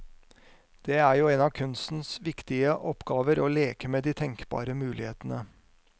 Det er jo en av kunstens viktige oppgaver å leke med de tenkbare mulighetene.